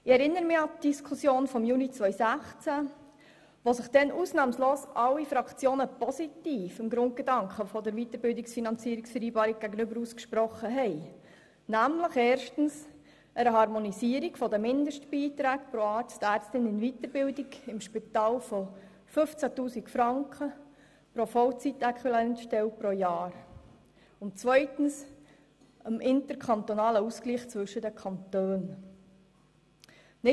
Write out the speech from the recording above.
Ich erinnere mich an die Diskussion von Juni 2016, wo sich ausnahmslos alle Fraktionen gegenüber dem Grundgedanken der Weiterbildungsfinanzierungsvereinbarung – erstens der Harmonisierung der Mindestbeiträge pro Ärztin, pro Arzt in Weiterbildung im Spital von 15 000 Franken pro Vollzeitäquivalent-Stelle pro Jahr und zweitens dem interkantonalen Ausgleich zwischen den Kantonen – positiv ausgesprochen haben.